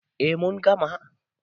A mun gama